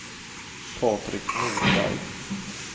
Patrik Norberg